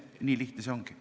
Nii lihtne see ongi.